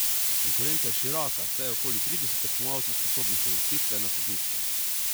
Konkurenca je široka, saj je okoli trideset tekmovalcev sposobnih uvrstitve na stopničke.